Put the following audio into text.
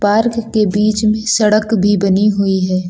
Park के बीच में सड़क भी बनी हुई है।